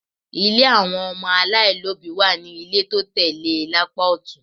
Ilé àwọn ọmọ aláìlóbìí wà ní ilé tó tẹ̀ lé e lápá ọ̀tún